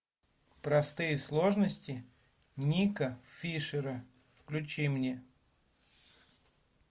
простые сложности нико фишера включи мне